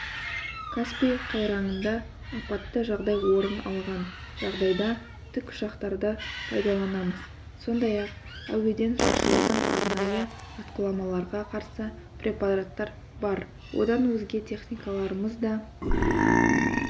каспий қайраңында апатты жағдай орын алған жағдайда тікұшақтарды пайдаланамыз сондай-ақ әуеден шашылатын арнайы атқыламаларға қарсы препараттар бар одан өзге техникаларымыз да